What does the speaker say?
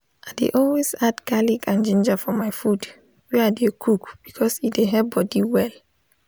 i dey always add garlic and ginger for my food wey i dey cook because e dey help body well